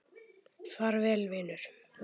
Far vel vinur.